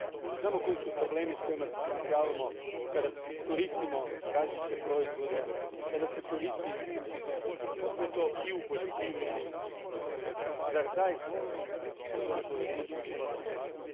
Znamo koji su problemi s kojima se suočavamo kada koristimo različite proizvode, kada se sve to koristi i u poljoprivredi. Zar zaista gospodine povjereniče moramo čekati?